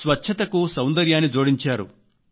స్వచ్ఛతకు సౌందర్యాన్ని జోడించారు